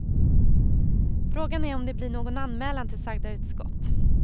Frågan är om det blir någon anmälan till sagda utskott.